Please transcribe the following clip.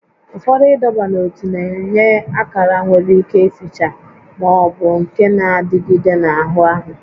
Ụfọdụ ịdọba n'ótú na-enye akara nwere ike ificha ma ọ bụ nke na-adịgide n'anụ ahụ